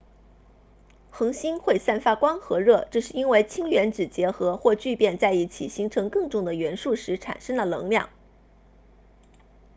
恒星会散发光和热这是因为氢原子结合或聚变在一起形成更重的元素时产生了能量